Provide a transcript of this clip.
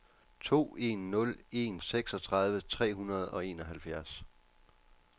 to en nul en seksogtredive tre hundrede og enoghalvfjerds